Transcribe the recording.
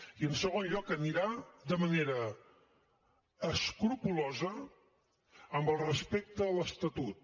i en segon lloc anirà de manera escrupolosa amb el respecte a l’estatut